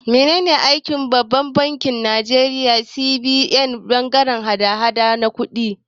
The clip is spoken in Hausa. Menene aikin Babban bankin Nigeria (CBN) a bangaren hada-hadar kuɗaɗe?